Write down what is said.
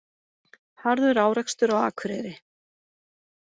Harður árekstur á Akureyri